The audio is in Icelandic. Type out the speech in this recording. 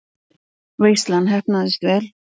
Veislan heppnaðist vel.